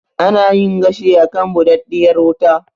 Ana yin gashi a kan buɗaɗɗiyar wuta.